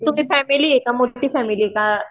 तुझी फॅमिली आहे का मोठी फॅमिली आहे का?